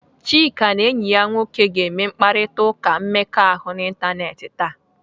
Chika na enyi ya nwoke ga-eme mkparịtaụka mmekọahụ n'ịntanetị taa